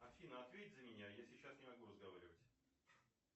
афина ответь за меня я сейчас не могу разговаривать